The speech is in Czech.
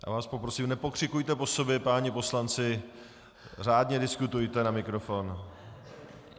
Já vás poprosím, nepokřikujte po sobě, páni poslanci, řádně diskutujte na mikrofon.